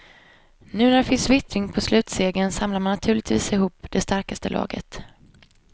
Nu när det finns vittring på slutsegern samlar man naturligtvis ihop det starkaste laget.